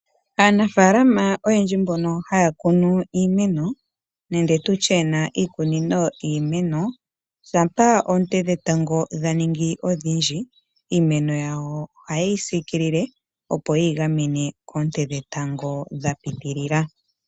Aanafaalama oyendji mbono haya kunu iimeno nande tutye yena iikunino yiimeno, shampa oonte dhetango dha ningi odhindji iimeno yawo oha yeyi siikilile opo yeyi gamene koonte dhetango dha pitilila.